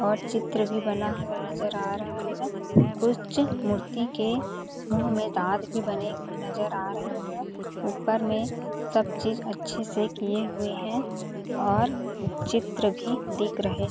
और चित्र भी बना हुआ नजर आ रहा है कुच मूर्ती के मुँह में दाँत बने हुए नजर आ रहे है ऊपर में सब चीज़ अच्छे से किये हुए है और चित्र भी दिख रहे --